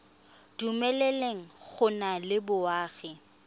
dumeleleng go nna le boagi